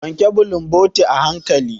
Wanke bulumboti a hanƙali.